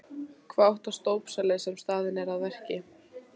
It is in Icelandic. Hvað óttast dópsali sem staðinn er að verki?